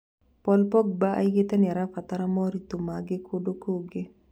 Paul Pogba oigĩte nĩarabatara moritũ mangĩ kũndũ kũngĩ